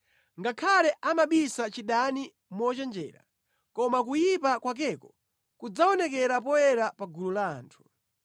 Ngakhale amabisa chidani mochenjera, koma kuyipa kwakeko kudzaonekera poyera pa gulu la anthu.